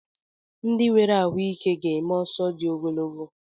Ndị nwere ahụike ga-eme ọsọ dị ogologo